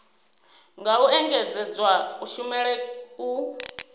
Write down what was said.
nga u engedzedza kushumele u